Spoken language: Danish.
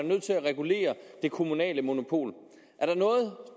nødt til at regulere det kommunale monopol